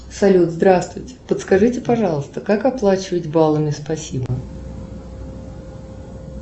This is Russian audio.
салют здравствуйте подскажите пожалуйста как оплачивать бала и спасибо